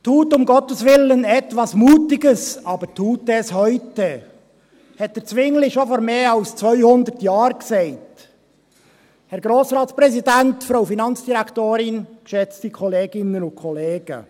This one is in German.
«Tut um Gottes willen etwas [Mutiges], aber tut es heute!», dies sagte Zwingli bereits vor mehr als zweihundert Jahren.